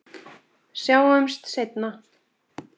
Sjáumst seinna.